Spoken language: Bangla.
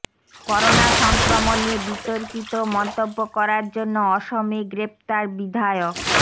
করোনা সংক্রমণ নিয়ে বিতর্কিত মন্তব্য করার জন্য অসমে গ্রেপ্তার বিধায়ক